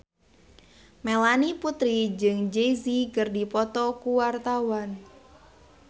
Melanie Putri jeung Jay Z keur dipoto ku wartawan